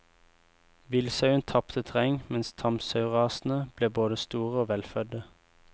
Villsauen tapte terreng mens tamsaurasene ble både store og velfødde.